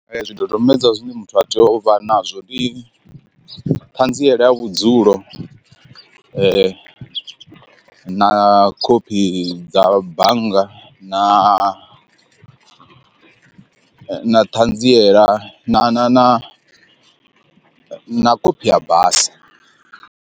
Zwidodombedzwa zwine muthu a tea uvha nazwo ndi ṱhanziela ya vhudzulo, na khophi dza bannga na na ṱhanziela na na na na khophi ya basa.